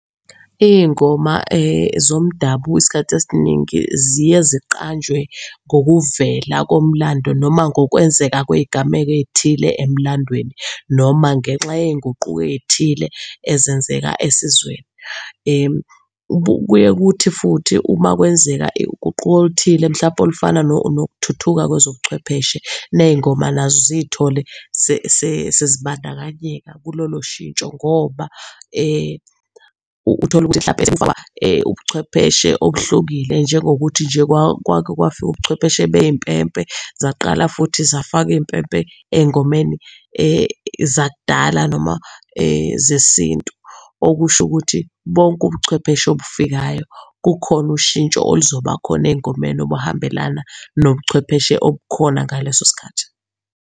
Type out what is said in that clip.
Iy'ngoma zomdabu isikhathi esiningi ziye ziqanjwe ngokuvela komlando noma kungokwenzeka kwey'gameko ey'thile emlandweni noma ngenxa yey'nguquko ey'thile ezenzeka esizweni. Kuye ukuthi futhi uma kwenzeka uguquko oluthile mhlawumpe olufana nokuthuthuka kwezobuchwepheshe ney'ngoma nazo ziy'thole sezibandakanyeka kulolo shintsho. Ngoba utholukuthi mhlampe sekufika ubuchwepheshe obuhlukile. Njengokuthi nje kwake kwafika ubuchwepheshe bey'mpempe zaqala futhi zafakwa iy'mpempe ey'ngomeni zakudala noma zesintu. Okushukuthi bonke ubuchwepheshe obufikayo kukhona ushintsho oluzoba khona ey'ngomeni obuhambelana nobuchwepheshe obukhona ngaleso sikhathi.